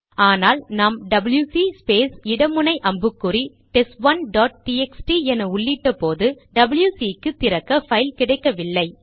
ஆனால் நாம் WC space இட முனை அம்புக்குறி டெஸ்ட்1 டாட் டிஎக்ஸ்டி என உள்ளிட்ட போது டபில்யுசி க்கு திறக்க பைல் கிடைக்கவில்லை